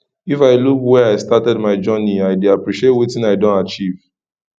if i look where i started my journey i dey appreciate wetin i don achieve